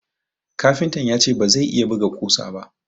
Kafintan ya ce ba zai iya buga kusa ba